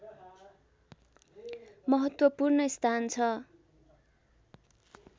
महत्त्वपूर्ण स्थान छ